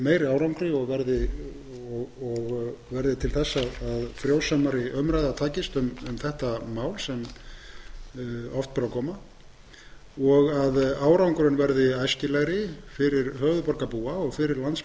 skili meiri árangri og verði til að frjósamari umræða takist um þetta mál sem oft ber á góma og að árangurinn verði æskilegri fyrir höfuðborgarbúa og fyrir landsmenn